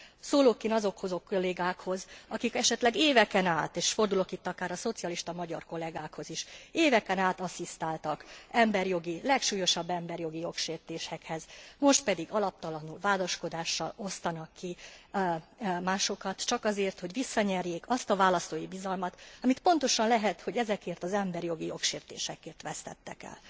Szólok én azokhoz a kollégákhoz, akik esetleg éveken át és fordulok itt akár a szocialista magyar kollegákhoz is asszisztáltak a legsúlyosabb emberi jogi jogsértésekhez, most pedig alaptalan vádaskodással osztanak ki másokat, csak azért, hogy visszanyerjék azt a választói bizalmat, amit pontosan lehet, hogy ezekért az emberi jogi jogsértésekért vesztettek el.